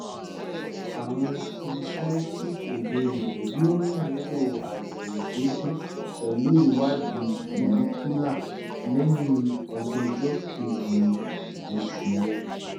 ààrùn polycystic ovarian yóò nílò àyẹ̀wò déédéé pẹ̀lú ìwádìí follicular lẹ́yìn ọjọ́ ọjọ́ kejì nǹkan oṣù rẹ